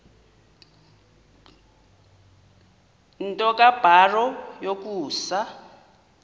nto kubarrow yokusa